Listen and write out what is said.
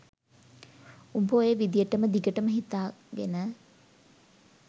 උඹ ඔය විදියටම දිගටම හිතාගෙන